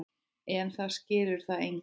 En það skilur það enginn.